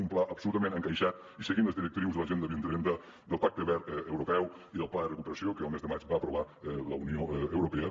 un pla absolutament encaixat i seguint les directrius de l’agenda dos mil trenta del pacte verd europeu i del pla de recuperació que el mes de maig va aprovar la unió europea